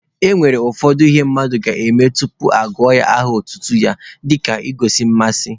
E nwere ụfọdụ ihe mmadụ ga-eme tupu ọ zaa aha otutu ya dịka igosi mmasị.